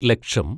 ലക്ഷം